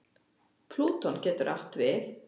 Plúton getur átt við